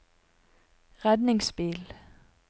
redningsbil